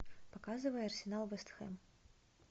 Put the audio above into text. показывай арсенал вест хэм